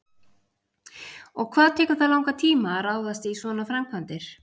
Og hvað tekur það langan tíma að ráðast í svona framkvæmdir?